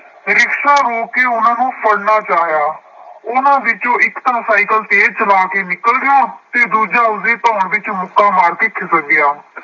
Rickshaw ਰੋਕ ਕੇ ਉਹਨਾ ਨੂੰ ਫੜ੍ਹਨਾ ਚਾਹਿਆ। ਉਹਨਾ ਵਿੱਚੋਂ ਇੱਕ ਤਾਂ ਸਾਈਕਲ ਤੇਜ਼ ਚਲਾ ਕੇ ਨਿਕਲ ਗਿਆ ਅਤੇ ਦੂਜਾ ਉਸਦੀ ਧੌਣ ਵਿੱਚ ਮੁੱਕਾ ਮਾਰ ਕੇ ਖਿਸਕ ਗਿਆ।